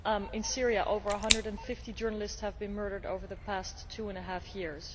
In Syria, over 150 journalists have been murdered over the past two and a half years.